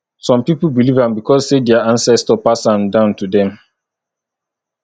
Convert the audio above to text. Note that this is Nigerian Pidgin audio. some pipo believe am because say their ancestor pass am down to dem